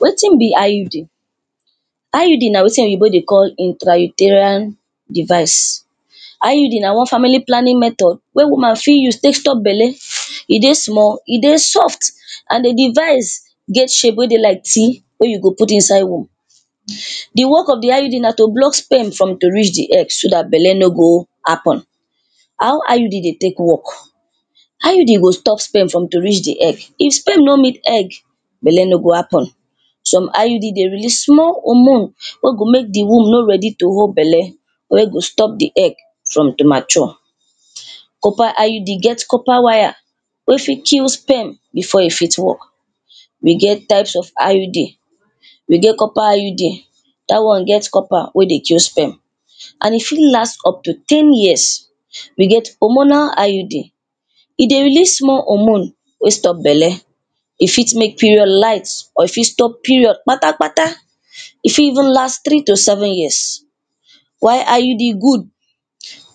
Wetin be IUD. IUD na wetin oyibo dey call intrauterine device. IUD na one family planning method wen woman fit use tek stop belle e dey small, e dey soft and di device get shape wey dey like T wey you go put inside womb. Di work of di IUD na to block sperm for to reach di egg so dat belle no go happen. How IUD dey tek work? IUD go stop sperm for to reach di egg if sperm no meet egg belle no go happen. Some IUD dey release small hormone wen go make di womb no ready to hold belle or e go stop di egg for premature. Copper IUD get copper wire wey fit kill sperm before e fit work. We get types of IUD. We get copper IUD dat one get copper wen dey kill sperm and e fit last unto ten years. we get hormonal IUD, e dey release small hormone wen stop belle, e fit make period light or e fit stop period kpata kpata, e fit even last three to seven years. Why IUD good?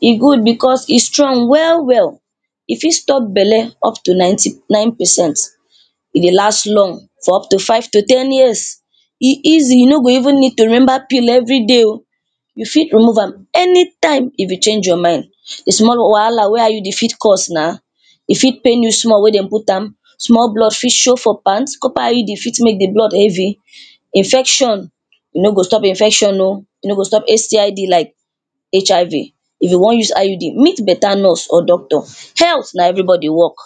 E good becos e strong well well, e fit stop belle unto ninety nine percent, e dey last long for unto five to ten years, e easy you no go even need to remember pill everyday o, you fit remove am anytime if you change your mind. Di small wahala IUD fit cause na, e fit pain you small wen dey put am, small blood fit show for pant, copper IUD fit make di blood heavy, infection e no go stop infection o, e no go stop STID like HIV. If you wan use IUD meet better nurse or doctor. Health na everybody work.